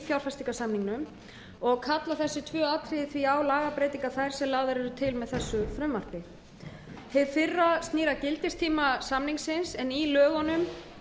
fjárfestingarsamningnum og kalla þessi tvö atriði því á lagabreytingar þær sem lagðar eru til með þessu frumvarpi hið fyrra atriði snýr að gildistíma samningsins í lögunum